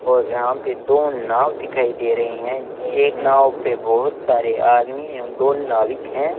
और यहां पे दो नाव दिखाई दे रहे हैं एक नाव पे बहोत सारे आदमी एवं दो नाविक हैं।